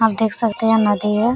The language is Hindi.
आप देख सकते हैं यह नदी है।